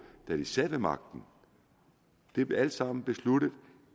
da de sad ved magten det blev alt sammen besluttet